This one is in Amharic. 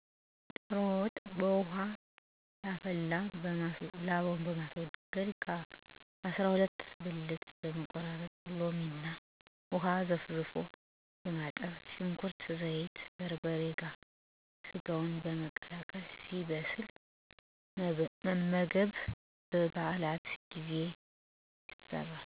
ዶሮ ወጥ' በፈላ ውሃ ላባውን በማስወገድ ከ. አሰራ ሁለት ብልት በመቆራረጥ በሎሚ እና ውሃ ዘፍዝፎ በማጠብ ሽንኩርት፣ ዘይት፣ በርበሬ ጋር ሰጋውን በመቀላቀል ሲበስል መመገብ። በ. በዓላት ጊዜ ይሰራል።